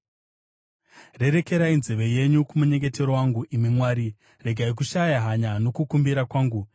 Rerekerai nzeve yenyu kumunyengetero wangu, imi Mwari; regai kushaya hanya nokukumbira kwangu;